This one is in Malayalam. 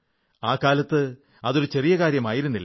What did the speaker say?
ആ കാലത്ത് അതൊരു ചെറിയ കാര്യമായിരുന്നില്ല